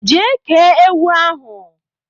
je kee ewu ahu